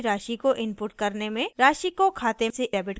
राशि को खाते से डेबिट करने में